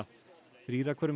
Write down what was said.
þrír af hverjum